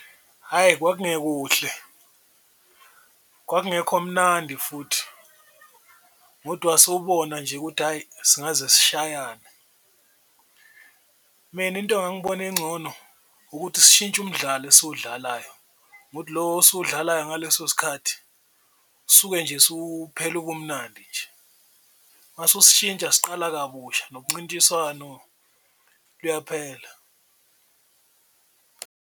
Hhayi kwakungekuhle, kwakungekho mnandi futhi ngodwa sewubona nje ukuthi hhayi singaze sishayane, mina into engangibona incono ukuthi sishintshe umdlalo nje esiwudlalayo ngokuthi lo osuwudlalayo ngaleso sikhathi suke nje usuphele ubumnandi nje. Mase ususishintsha siqala kabusha nomncintiswano luyaphela.